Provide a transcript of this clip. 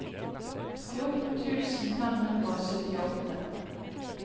fjorten tusen fem hundre og syttiåtte